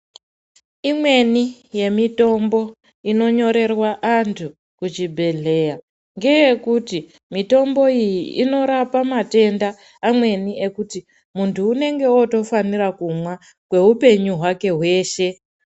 Imweni yemitombo inonyorerwa antu kuchibhedhleya ,ngeyekuti mitomboyi inorapa matenda amweni ekuti ,muntu unenge otofanira kumwa, kweupenyu hwake hweshe